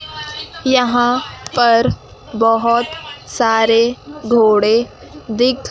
यहां पर बहोत सारे घोड़े दिख--